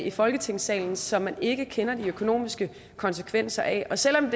i folketingssalen som man ikke kender de økonomiske konsekvenser af og selv om